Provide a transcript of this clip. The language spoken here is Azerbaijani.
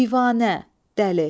Divanə, dəli.